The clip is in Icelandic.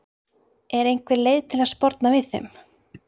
Er einhver leið til að sporna við þeim?